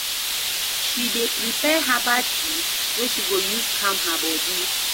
She dey prepare herbal tea wey she go use calm her bodi.